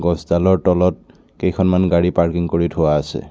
গছডালৰ তলত কেইখনমান গাড়ী পাৰ্কিং কৰি থোৱা আছে।